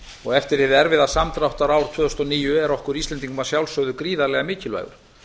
og eftir hið erfiða samdráttarár tvö þúsund og níu er okkur íslendingum að sjálfsögðu gríðarlega mikilvægur